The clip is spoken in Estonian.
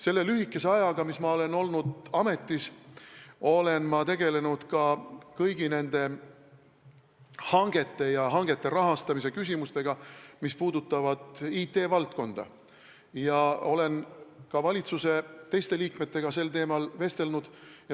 Selle lühikese ajaga, mil ma olen olnud ametis, olen ma tegelenud ka kõigi nende hangetega, mis puudutavad IT-valdkonda, ja nende rahastamise küsimustega ning olen ka valitsuse teiste liikmetega sel teemal vestelnud.